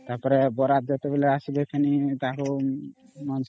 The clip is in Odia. ତା ପରେ ବିବାହ ଶୋଭାଯାତ୍ରା ଯେତେବେଳେ ଆସିବେ ଫେଣି ତାଙ୍କର